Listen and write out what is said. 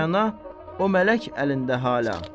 Rəna, o mələk əlində hala.